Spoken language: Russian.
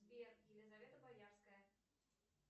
сбер елизавета боярская